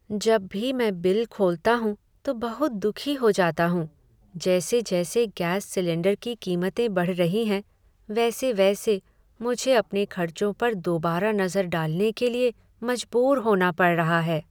जब भी मैं बिल खोलता हूँ तो बहुत दुखी हो जाता हूँ। जैसे जैसे गैस सिलेंडर की कीमतें बढ़ रही हैं, वैसे वैसे मुझे अपने खर्चों पर दोबारा नजर डालने के लिए मजबूर होना पड़ रहा है।